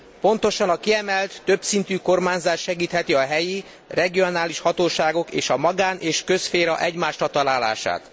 Pontosan a kiemelt, többszintű kormányzás segítheti a helyi regionális hatóságok és a magán és közszféra egymásra találását.